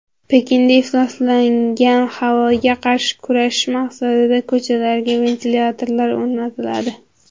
Pekinda ifloslangan havoga qarshi kurashish maqsadida ko‘chalarga ventilyatorlar o‘rnatiladi.